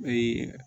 Ee